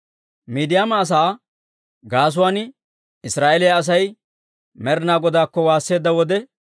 Miidiyaama asaa gaasuwaan Israa'eeliyaa Asay Med'inaa Godaakko waasseedda wode,